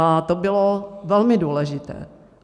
A to bylo velmi důležité.